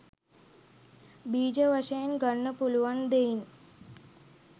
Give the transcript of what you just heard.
බීජ වශයෙන් ගන්න පුළුවන් දෙයින්